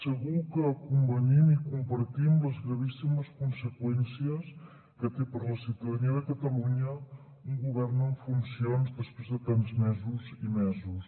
segur que convenim i compartim les gravíssimes conseqüències que té per la ciutadania de catalunya un govern en funcions després de tants mesos i mesos